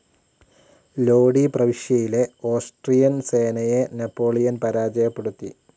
ലോഡി പ്രവിശ്യയിലെ ഓസ്ട്രിയൻ സേനയെ നാപ്പോളിയൻ പരാജയപ്പെടുത്തി.